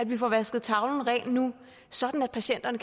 nu får vasket tavlen ren sådan at patienterne